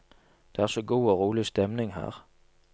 Det er så god og rolig stemning her.